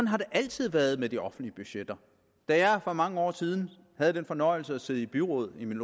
har det altid været med de offentlige budgetter da jeg for mange år siden havde den fornøjelse at sidde i byrådet i min